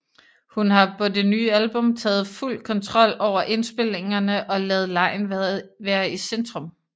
Hun har på det nye album taget fuld kontrol over indspilningerne og ladet legen være i centrum